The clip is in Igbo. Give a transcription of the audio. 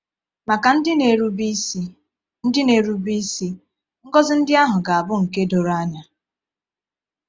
Maka ndị na-erube isi, ndị na-erube isi, ngọzi ndị ahụ ga-abụ nke doro anya.